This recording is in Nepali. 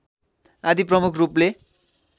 आदि प्रमुख रूपले